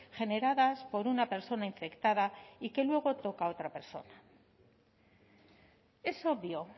generadas por una persona infectada y que luego toca a otra persona es obvio